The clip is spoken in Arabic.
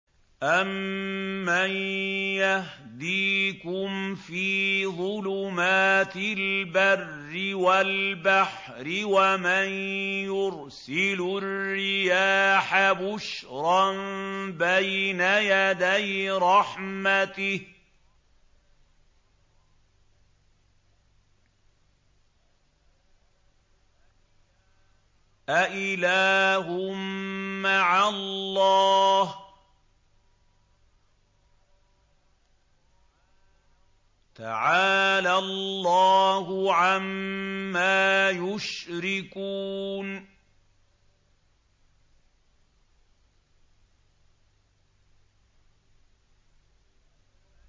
أَمَّن يَهْدِيكُمْ فِي ظُلُمَاتِ الْبَرِّ وَالْبَحْرِ وَمَن يُرْسِلُ الرِّيَاحَ بُشْرًا بَيْنَ يَدَيْ رَحْمَتِهِ ۗ أَإِلَٰهٌ مَّعَ اللَّهِ ۚ تَعَالَى اللَّهُ عَمَّا يُشْرِكُونَ